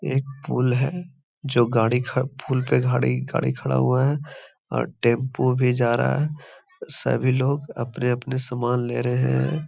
एक पुल है जो गाड़ी पुल पे गाड़ी गाड़ी खड़ा हुआ है और टेम्पू भी जा रहा है। सभी लोग अपने-अपने समान ले रहे हैं।